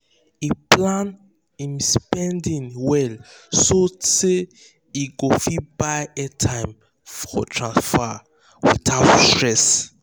he plan him spending well so say he go fit buy airtime for himself um without stress. um